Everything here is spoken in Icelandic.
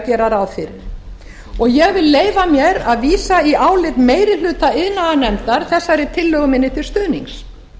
gera ráð fyrir ég vil leyfa mér að vísa í álit meiri hluta iðnaðarnefndar þessari tillögu minni til stuðnings